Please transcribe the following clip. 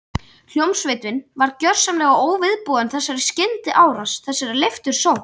Hljómsveitin var gjörsamlega óviðbúin þessari skyndiárás, þessari leiftursókn.